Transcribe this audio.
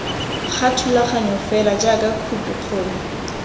ga thulaganyo fela jaaka khopikgolo